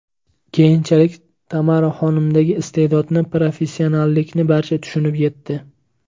Keyinchalik Tamaraxonimdagi iste’dodni, professionallikni barcha tushunib yetdi.